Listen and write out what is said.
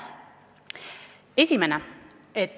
Esimene.